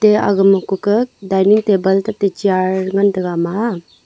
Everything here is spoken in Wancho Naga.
te agama kuka dinning table tate chair ngan taiga ama a.